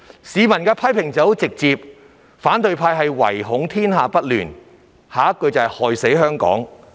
市民對他們的批評直截了當："反對派唯恐天下不亂，害死香港"！